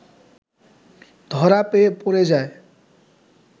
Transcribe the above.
ধরা পড়ে যায়